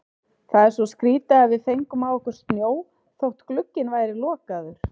Það er svo skrýtið að við fengum á okkur snjó þótt glugginn væri lokaður.